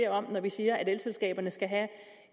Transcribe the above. om når vi siger at elselskaberne skal have